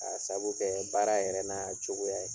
Ka sabu kɛ baara yɛrɛ n'a cogoya ye